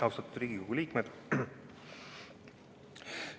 Austatud Riigikogu liikmed!